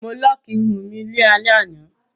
Mo lọ́ọ́kì irun mi ní alẹ́ àná.